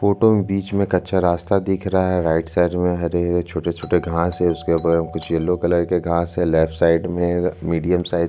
photo में बीच में कच्चा रास्ता दिख रहा है राइट साइड में हरे-हरे छोटे-छोटे घास है उसके ऊपर कुछ येलो कलर के घास है लेफ्ट साइड में मीडियम साइज --